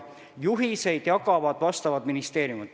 Juhiseid jagavad valdkonnaministeeriumid.